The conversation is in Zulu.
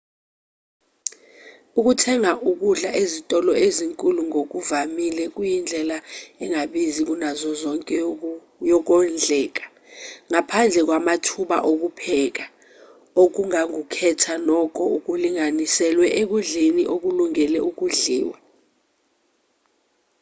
ukuthenga ukudla ezitolo ezinkulu ngokuvamile kuyindlela engabizi kunazo zonke yokondleka ngaphandle kwamathuba okupheka ongakukhetha nokho kulinganiselwe ekudleni okulungele udliwa